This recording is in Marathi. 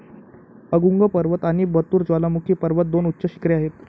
अगुंग पर्वत आणि बतूर ज्वालामुखी पर्वत दोन उच्च शिखरे आहेत.